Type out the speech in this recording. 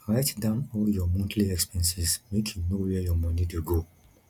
write down all your monthly expenses make you know where your moni dey go